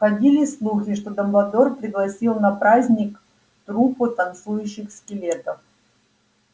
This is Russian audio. ходили слухи что дамблдор пригласил на праздник труппу танцующих скелетов